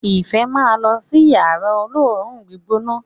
ifẹ má ló si ní Yàrá olóoru-gbígbóná.